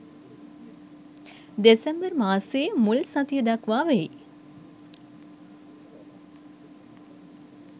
දෙසැම්බර් මාසයේ මුල් සතිය දක්වා වෙයි.